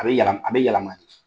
A bɛ yalam a bɛ yalama de